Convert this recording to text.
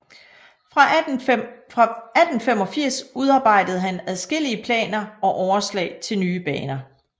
Fra 1885 udarbejdede han adskillige planer og overslag til nye baner